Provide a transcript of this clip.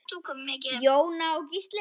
Jóna og Gísli.